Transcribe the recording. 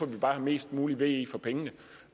vi bare have mest mulig ve for pengene